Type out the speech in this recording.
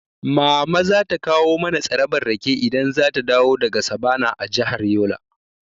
Mama za ta kawo mana tsarabar rake idan zata dawo daga sabana a jihar Yola.